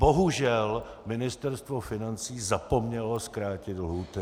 Bohužel Ministerstvo financí zapomnělo zkrátit lhůty.